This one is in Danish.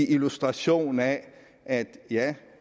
illustration af at